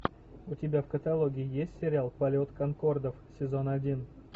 у тебя в каталоге есть сериал полет конкордов сезон один